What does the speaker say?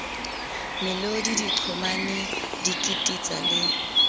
melodi diqhomane di kititsa le